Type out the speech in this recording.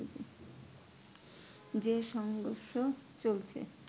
যে সংঘর্ষ চলছে